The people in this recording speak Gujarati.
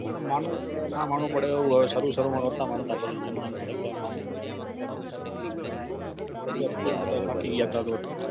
માનવું પડે ના માનવું પડે એવું હોય સરુ સરુમા નતા માનતા થઇ ગયા જેમ જેમ સાહબ કે એમ માનવું પડ્યું થાકી ગયા તા